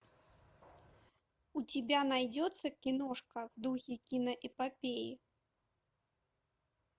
у тебя найдется киношка в духе киноэпопеи